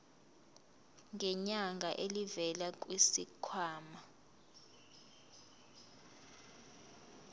ngenyanga elivela kwisikhwama